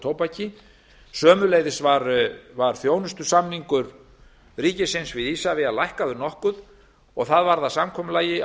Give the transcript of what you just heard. tóbaki sömuleiðis var þjónustusamningur ríkisins við isavia lækkaður nokkuð og það varð að samkomulagi